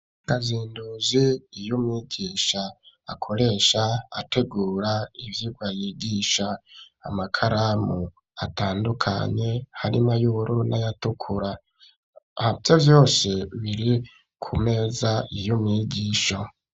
Kazinduzi y'umwigisha akoresha ategura ivyigwa yigisha amakaramu atandukanye harimwo y'ubururu ayatukura habayo vyose biri ku meza y'umwigisha.